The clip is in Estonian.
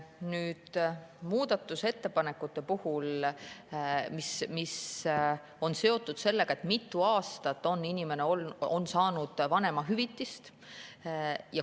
Nüüd muudatusettepanekutest, mis on seotud sellega, mitu aastat inimene on saanud vanemahüvitist.